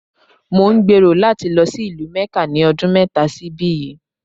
Mò ń gbèrò láti lọ sí ìlú Mẹ́kà ní ọdún mẹ́ta sí ibí yìí.